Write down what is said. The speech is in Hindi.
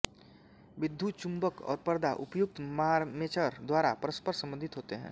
विद्युच्चुंबक और पर्दा उपर्युक्त मार्मेचर द्वारा परस्पर संबंधित होते हैं